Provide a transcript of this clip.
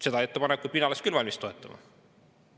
Seda ettepanekut oleks mina küll valmis toetama.